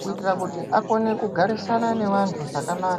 kutira kuti akone kugarisana nevantu zvakanaka.